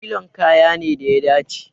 Nilon kaya ne da ya dace.